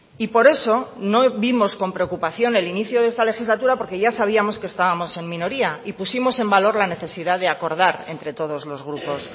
y por eso no vimos con preocupación el inicio de esta legislatura porque ya sabíamos que estábamos en minoría y pusimos en valor la necesidad de acordar entre todos los grupos